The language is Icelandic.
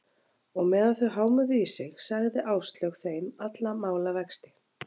Og meðan þau hámuðu í sig, sagði Áslaug þeim alla málavexti.